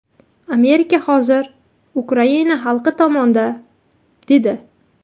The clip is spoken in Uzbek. Amerika hozir Ukraina xalqi tomonida”, dedi.